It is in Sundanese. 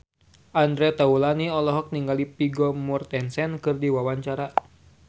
Andre Taulany olohok ningali Vigo Mortensen keur diwawancara